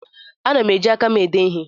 Ana m eji aka m ede ije.